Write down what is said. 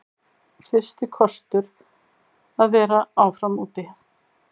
Fyrsti kostur að vera áfram úti